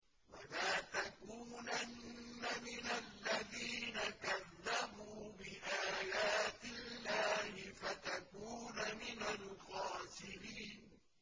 وَلَا تَكُونَنَّ مِنَ الَّذِينَ كَذَّبُوا بِآيَاتِ اللَّهِ فَتَكُونَ مِنَ الْخَاسِرِينَ